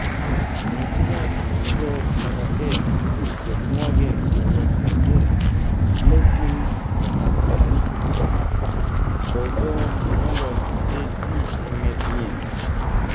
Ngecheyat nebo labatet chenwogen koyob Nigeria, Blessing Okagbare, kogongololseji emet nyin.